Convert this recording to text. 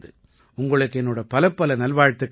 உங்களுக்கு என்னோட பலப்பல நல்வாழ்த்துக்கள்